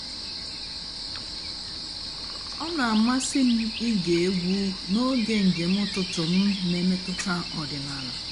ọ́ nà-àmásị́ m íge ègwú n'óge ǹjéém ụ́tụtụ́ m nà-èmètụ́tà ọ̀dị́náàlà.